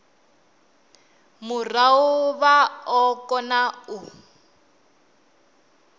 murahu vha o kona u